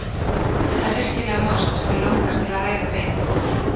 Það er virkilega margt sem mig langar til að ræða við